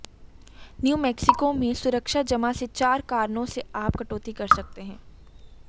new Mexico में सुरक्षा जमा से चार कारणों से आप कटौती कर सकते हैं